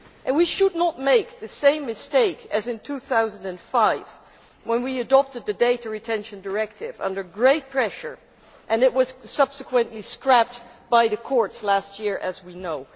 We should not make the same mistake as in 2005 when we adopted the Data Retention Directive under great pressure and it was subsequently scrapped by the courts last year, as we know.